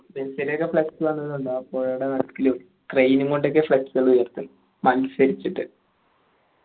മെസ്സിയുടെ ഒക്കെ flex വന്നത് കണ്ടോ പോഴയുടെ നടുക്കിലും crane ഉം കൊണ്ടൊക്കെയാ flex കൾ വെരുത്ത് മത്സരിച്ചിട്ട്